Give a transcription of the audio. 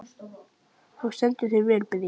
Þú stendur þig vel, Bríet!